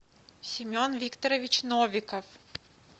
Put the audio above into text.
семен викторович новиков